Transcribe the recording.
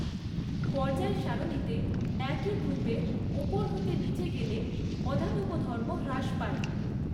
পর্যায় সারণিতে একই গ্ৰুপের ওপর হতে নিচে গেলে অধাতব ধর্ম হ্রাস পায়।